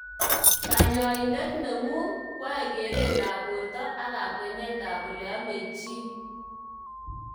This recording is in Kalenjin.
Kanyoindet neng'ung kwae keret ab borto ak kakwenyet ab oleamei chi.